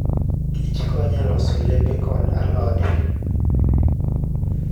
kich konyo e loso olembe koda alode.